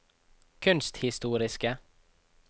kunsthistoriske